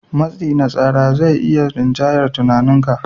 Matsi na tsara zai iya rinjayar tunaninka.